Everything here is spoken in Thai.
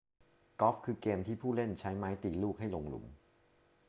กอล์ฟ คือเกมที่ผู้เล่นใช้ไม้ตีลูกให้ลงหลุม